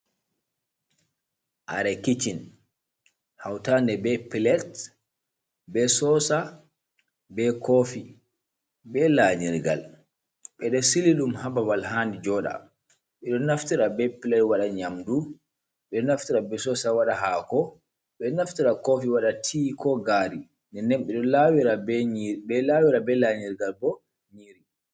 Kare kicchin hautande be plate be sosa be kofi be lanyirgal ɓedo siliɗum ha babal handi joda ɓeɗo naftira be plate wada nyamdu ɓeɗo naftira be sosa waɗa hako ɓeɗo naftira kofi wada ti ko gaari nden ɓeɗo lawira be lanyirgal bo nyiiri.